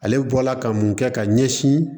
Ale bɔla ka mun kɛ ka ɲɛsin